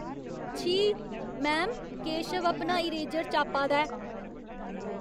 छी! मैम, केशव अपना इरेजर चापा दा ऐ।